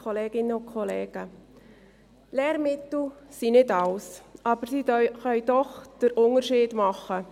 Lehrmittel sind nicht alles, aber sie können doch den Unterschied ausmachen.